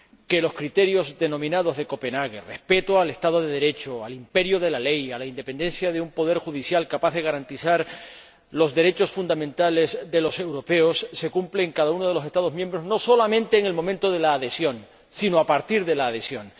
Vela por que los denominados criterios de Copenhague, el respeto del Estado de Derecho, el imperio de la ley y la independencia de un poder judicial capaz de garantizar los derechos fundamentales de los europeos se cumplan en cada uno de los Estados miembros, no solamente en el momento de la adhesión, sino a partir de la adhesión.